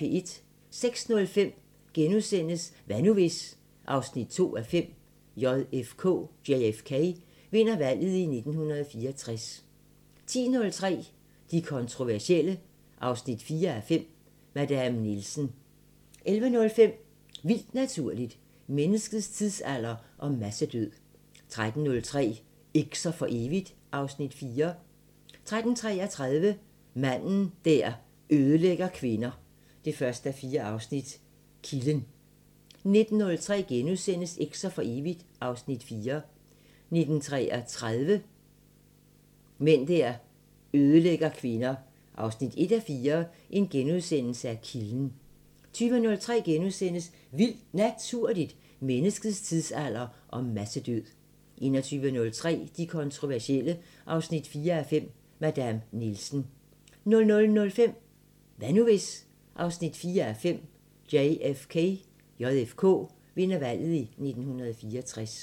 06:05: Hvad nu hvis...? 4:5 – JFK vinder valget i 1964 * 10:03: De kontroversielle 4:5 – Madame Nielsen 11:03: Vildt Naturligt: Menneskets tidsalder og massedød 13:03: Eks'er for evigt (Afs. 4) 13:33: Mænd der ødelægger kvinder 1:4 – Kilden 19:03: Eks'er for evigt (Afs. 4)* 19:33: Mænd der ødelægger kvinder 1:4 – Kilden * 20:03: Vildt Naturligt: Menneskets tidsalder og massedød * 21:03: De kontroversielle 4:5 – Madame Nielsen 00:05: Hvad nu hvis...? 4:5 – JFK vinder valget i 1964